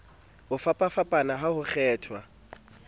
ho fapafapana ha ho kgethwa